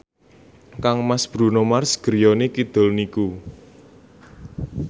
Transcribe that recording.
kangmas Bruno Mars griyane kidul niku